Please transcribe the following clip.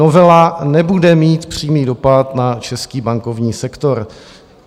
Novela nebude mít přímý dopad na český bankovní sektor.